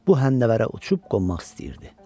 Bu həndəvərə uçub qonmaq istəyirdi.